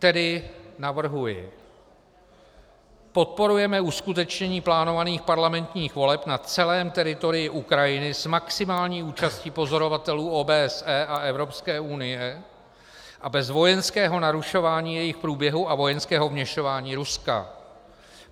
Tedy navrhuji: Podporujeme uskutečnění plánovaných parlamentních voleb na celém teritoriu Ukrajiny s maximální účastí pozorovatelů OBSE a Evropské unie a bez vojenského narušování jejich průběhu a vojenského vměšování Ruska.